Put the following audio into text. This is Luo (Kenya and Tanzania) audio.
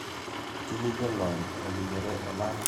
Tije jolony ma oinjore oland gi mogao mar tije ma amerka.